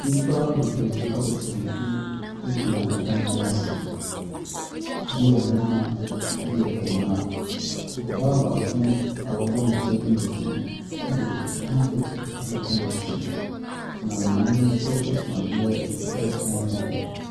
Nnipa bebree abɔ kyenku egyina dan bi ase. Ebi yɛ mmarima, ebi yɛ mmaa. Ɔbaa baako a wɔabɔ ne ti agu n'akyi ɛde hakekyif akata ne ti. Na maame bi nso so adeɛ retɔn wɔ hɔ.